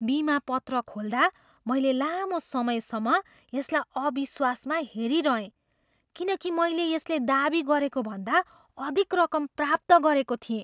बिमा पत्र खोल्दा, मैले लामो समयसम्म यसलाई अविश्वासमा हेरिरहेँ किनकि मैले यसले दाबी गरेको भन्दा अधिक रकम प्राप्त गरेको थिएँ।